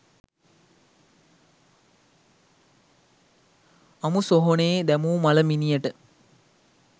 අමු සොහොනේ දැමූ මළ මිනියට